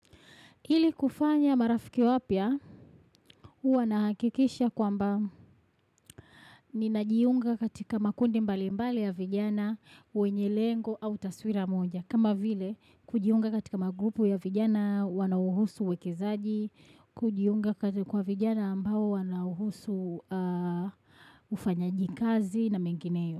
Hili kufanya marafiki wapya, huwa nahakikisha kwamba ninajiunga katika makundi mbali mbali ya vijana, wenye lengo au taswira moja. Kama vile, kujiunga katika magrupu ya vijana, wanauhusu uwekizaji, kujiunga katika kwa vijana ambao wanauhusu ufanyaji kazi na mengineyo.